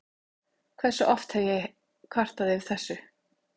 Hversu oft hef ég kvartað yfir þessu?